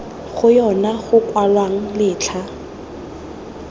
go yona go kwalwang letlha